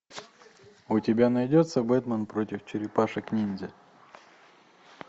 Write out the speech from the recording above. у тебя найдется бэтмен против черепашек ниндзя